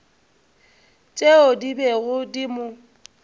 tšeo di bego di mo